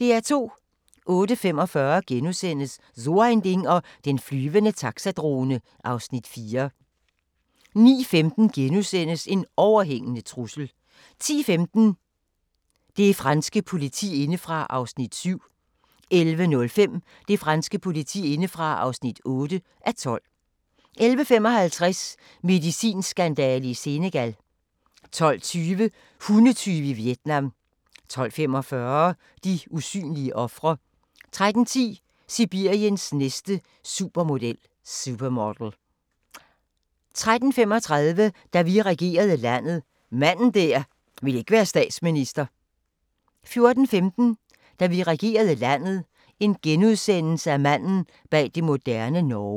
08:45: So ein Ding og den flyvende taxadrone (Afs. 4)* 09:15: En overhængende trussel * 10:15: Det franske politi indefra (7:12) 11:05: Det franske politi indefra (8:12) 11:55: Medicinskandale i Senegal 12:20: Hundetyve i Vietnam 12:45: De usynlige ofre 13:10: Sibiriens næste supermodel 13:35: Da vi regerede landet – manden der ikke ville være statsminister 14:15: Da vi regerede landet – manden bag det moderne Norge *